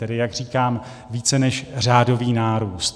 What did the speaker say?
Tedy jak říkám, více než řádový nárůst.